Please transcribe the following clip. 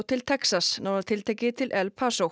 til Texas nánar tiltekið til El